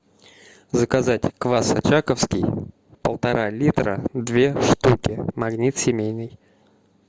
заказать квас очаковский полтора литра две штуки магнит семейный